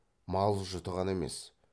мал жұты ғана емес